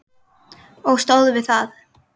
Og stóð við það.